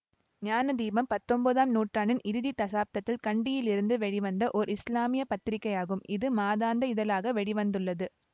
ஞானதீபம் பத்தொன்பதாம் நூற்றாண்டின் இறுதி தசாப்தத்தில் கண்டியிலிருந்து வெளிவந்த ஓர் இசுலாமிய பத்திரிகையாகும் இது மாதாந்த இதழாக வெளி வந்துள்ளது